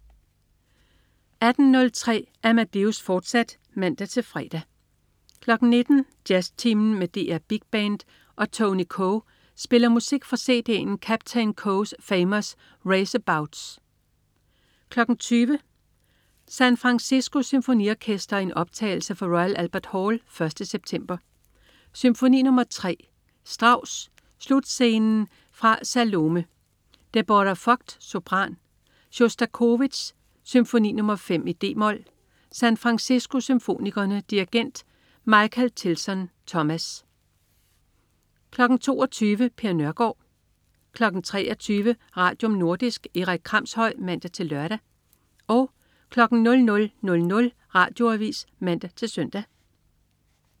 18.03 Amadeus, fortsat (man-fre) 19.00 Jazztimen med DR Big Band og Tony Coe spiller musik fra cd'en Captain Coe's Famous Raceabouts 20.00 San Francisco Symfoniorkester i en optagelse fra Royal Albert Hall 1. september. Symfoni nr. 3. Strauss: Slutscenen fra Salome. Deborah Voight, sopran. Sjostakovitj: Symfoni nr. 5, d-mol. San Francisco Symfonikerne. Dirigent: Michael Tilson Thomas 22.00 Per Nørgård 23.00 Radium. Nordisk. Erik Kramshøj (man-lør) 00.00 Radioavis (man-søn)